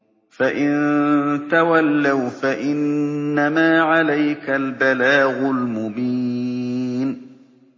فَإِن تَوَلَّوْا فَإِنَّمَا عَلَيْكَ الْبَلَاغُ الْمُبِينُ